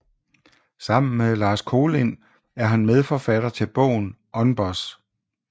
Sammen med Lars Kolind er han medforfatter til bogen UNBOSS